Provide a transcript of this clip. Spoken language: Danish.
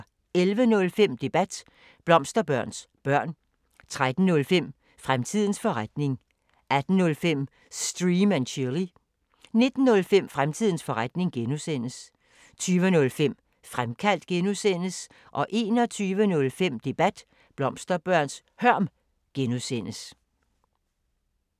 11:05: Debat: Blomsterbørns hørm 13:05: Fremtidens forretning 18:05: Stream & Chill 19:05: Fremtidens forretning (G) 20:05: Fremkaldt (G) 21:05: Debat: Blomsterbørns hørm (G)